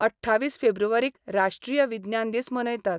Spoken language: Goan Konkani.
अठ्ठावीस फेब्रुवारीक राष्ट्रीय विज्ञान दीस मनयतात.